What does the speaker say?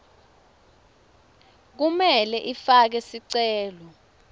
kumele ifake sicelo